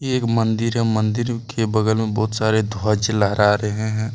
एक मंदिर है मंदिर के बगल में बहुत सारे ध्वज लहरा रहे हैं।